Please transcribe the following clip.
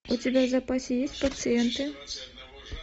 у тебя в запасе есть пациенты